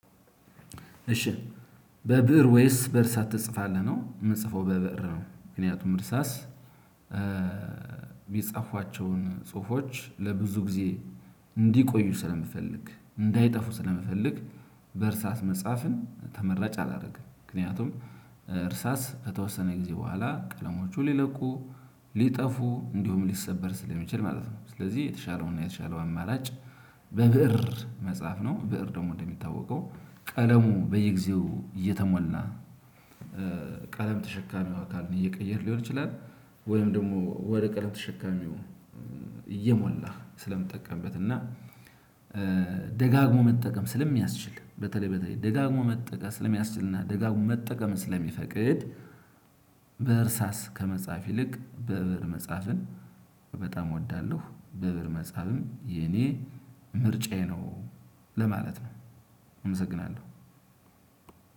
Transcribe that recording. እሺ በብእር ወይስ በእርሳት ትጽፋለህ? ነው የምጽፈው በብእር ነው። ምክንያቱም እርሳስ ሳስ የጻፏቸውን ጽሁፎች ለብዙ ጊዜ እንዲቆዩ ስለምፈልግ እንዳይጠፉ ስለምፈልግ። በእርሳስ መጽሐፍን ተመራጭ አላደርግም። ምክንያቱም እርሳስ ከተወሰነ ጊዜ በኋላ ቀለሞቹ ሊለቁ ሊጠፉ እንዲሁም ሊሰበር ስለሚችል ማለት ነው። ስለዚህ የተሻለውና የተሻለው አማራጭ በብእር መጻፍ ነው። ብእር ደግሞ እንደሚታወቀው ቀለሙ በየጊዜው እየተሞላ ቀለም ተሸካሚ አካልን እየቀየርን ሊሆን ይችላል። ወይም ደግሞ ወደ ቀለም ተሸካሚው እየሞላህ ስለምጠቀምበት እና ደጋግሞ መጠቀም ስለሚያስችል በተለይ በተለይ ደጋግሞ መጠቀም ስለሚያስችልና ደጋግሞ መጠቀም ስለሚፈቅድ። በእርሳስ ከመጻፍ ይልቅ በእብር መጻፍን በጣም እወዳለሁ። በብእር መጽሐፍም የኔ ምርጫዬ ነው ለማለት ነው። አመሰግናለሁ።